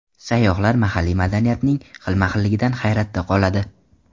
Sayyohlar mahalliy madaniyatning xilma-xilligidan hayratda qoladi.